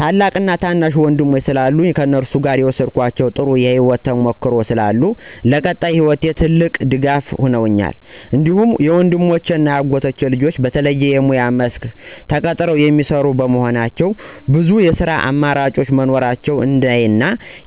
ታላቅ እና ታናሽ ወንድሞቼ ስላሉኝ ከእነሱ የወሰድኳቸው ጥሩ የህይወት ተሞክሮ ስላሉ ለቀጣይ ህይወቴ ትልቅ ድጋፍ ሁነውኛል። እንዲሁም ወንድሞቼ እና የአጎቴ ልጆች በተለየ የሙያ መስክ ተቀጥረው የሚሰሩ በመሆኑ ብዙ የስራ አማራጮች መኖራቸውን እንዳይ እና